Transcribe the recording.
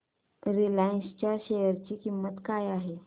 Reliance च्या share ची किंमत काय आहे